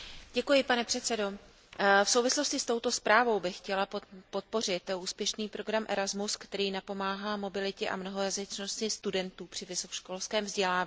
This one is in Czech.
Pane předsedající, v souvislosti s touto zprávou bych chtěla podpořit úspěšný program ERASMUS, který napomáhá mobilitě a mnohojazyčnosti studentů při vysokoškolském vzdělávání.